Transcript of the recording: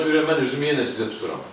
Ona görə mən üzümü yenə sizə tuturam.